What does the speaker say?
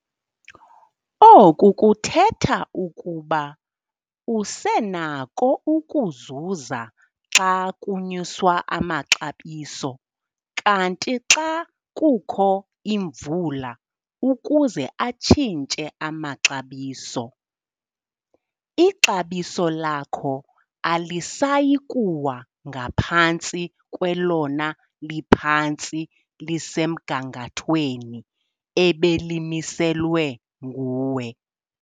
Oku kuthetha ukuba usenako ukuzuza xa kunyuswa amaxabiso kanti xa kukho imvula ukuze atshintshe amaxabiso, ixabiso lakho alisayi kuwa ngaphantsi kwelona liphantsi lisemgangathweni ebelimiselwe nguwe.